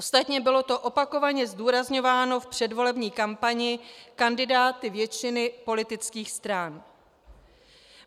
Ostatně bylo to opakovaně zdůrazňováno v předvolební kampani kandidáty většiny politických stran.